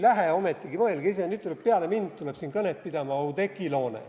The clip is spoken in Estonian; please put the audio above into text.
Mõelge ise, nüüd tuleb peale mind Oudekki Loone kõnet pidama.